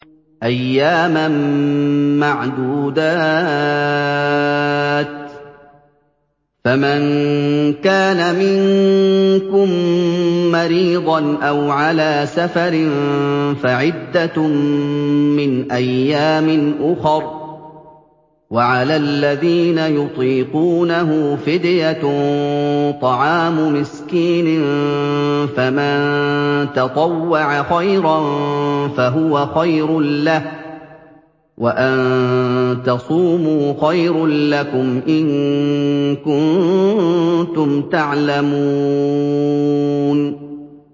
أَيَّامًا مَّعْدُودَاتٍ ۚ فَمَن كَانَ مِنكُم مَّرِيضًا أَوْ عَلَىٰ سَفَرٍ فَعِدَّةٌ مِّنْ أَيَّامٍ أُخَرَ ۚ وَعَلَى الَّذِينَ يُطِيقُونَهُ فِدْيَةٌ طَعَامُ مِسْكِينٍ ۖ فَمَن تَطَوَّعَ خَيْرًا فَهُوَ خَيْرٌ لَّهُ ۚ وَأَن تَصُومُوا خَيْرٌ لَّكُمْ ۖ إِن كُنتُمْ تَعْلَمُونَ